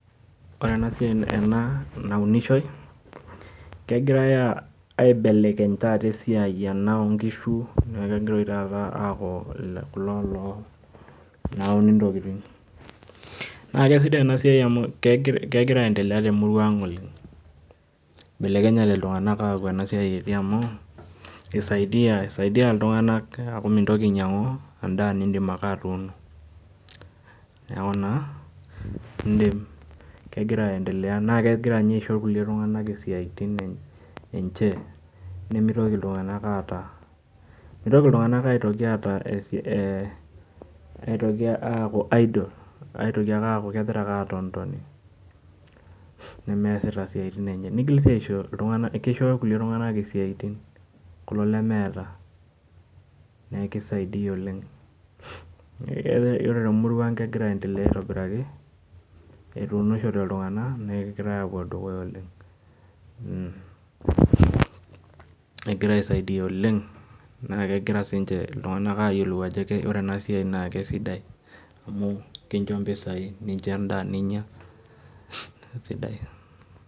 Ore enasiai ena naunishoi, kegirai aibelekeny taata esiai ena onkishu neku kegira oshi taata aku kulo loo louni intokiting. Na kesidai enasiai amu kegira aendelea temurua ang oleng. Belekenyate iltung'anak aku enasiai etii amu, isaidia iltung'anak aku mintoki ainyang'u endaa nidim ake atuuno. Neeku naa, idim kegira aendelea na kegira nye aisho kulie tung'anak isiaitin enche, nimitoki iltung'anak aata, mitoki iltung'anak aitoki aitoki aku idle. Aitoki ake aku kegira ake aton toni nemeesita isiaitin enye, nigil si aisho iltung'anak kisho kulie tung'anak isiaitin, kulo lemeeta. Neku kisaidia oleng. Yiolo temurua ang kegira aendelea aitobiraki, etunishote iltung'anak, negirai apuo dukuya oleng. Egira aisaidia oleng, na kegira sinche iltung'anak ayiolou ajo ore enasiai na kesidai. Amu kincho mpisai nikincho endaa ninya, sidai.